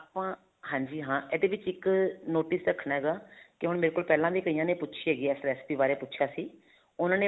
ਆਪਾ ਹਾਂਜੀ ਹਾਂ ਇਹਦੇ ਵਿੱਚ ਇੱਕ notice ਰੱਖਣਾ ਹੈਗਾ ਕਿ ਹੁਣ ਮੇਰੇ ਕੋਲ ਪਹਿਲਾਂ ਵੀ ਕਈਆ ਨੇ ਪੁੱਛੀ ਹੈਗੀ ਹੈ ਇਸ recipe ਬਾਰੇ ਪੁੱਛਿਆ ਸੀ ਉਹਨਾ ਨੇ